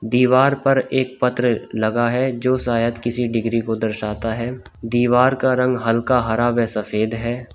दीवार पर एक पत्र लगा है जो शायद किसी डिग्री को दर्शाता है दीवार का रंग हल्का हरा व सफेद है।